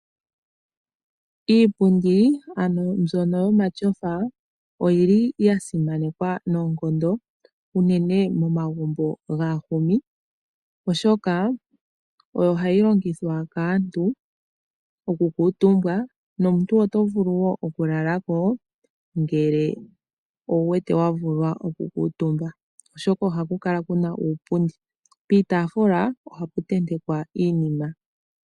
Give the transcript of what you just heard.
Iipundi mbyoka yomatyofa oya simanekwa noonkondo uunene momagumbo gaahumi, oshoka oyo hayi longithwa kaantu okukuutumbwa nomuntu oto vulu wo okulala ko ngele owu wete wa vulwa okukuutumba, oshoka ohaku kala ku na uukuusinga. Piitaafula ohapu tentekwa iinima.